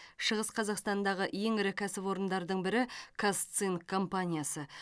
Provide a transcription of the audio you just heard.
шығыс қазақстандағы ең ірі кәсіпорындардың бірі казцинк компаниясы